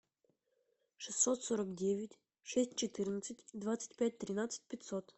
шестьсот сорок девять шесть четырнадцать двадцать пять тринадцать пятьсот